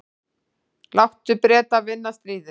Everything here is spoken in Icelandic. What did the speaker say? Láttu Breta vinna stríðið.